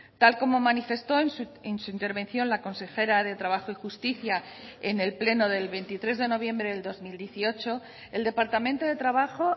tal como manifestó en su intervención la consejera de trabajo y justicia en el pleno del veintitrés de noviembre del dos mil dieciocho el departamento de trabajo